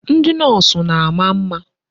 Ndị Nọọsụ na-ama mma.